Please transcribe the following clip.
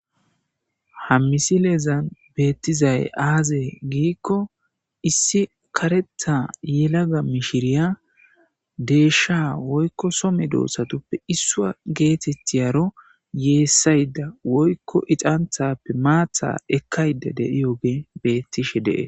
ha misileezan beettizay aazee giikko issi karetha yelaga mishiriya deeshsha woykko some doosatuppe issua geetetiyaro yeessayda woykko ixanthappe maatha ekkayda deiyoge beettishe dees